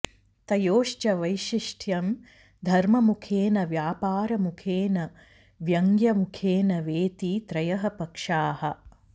तयोश्च वैशिष्ट्यं धर्ममुखेन व्यापारमुखेन व्यङ्ग्यमुखेन वेति त्रयः पक्षाः